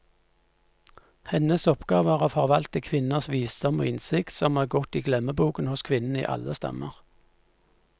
Hennes oppgave er å forvalte kvinners visdom og innsikt, som er gått i glemmeboken hos kvinnene i alle stammer.